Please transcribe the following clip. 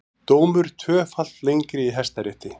Dómur tvöfalt lengri í Hæstarétti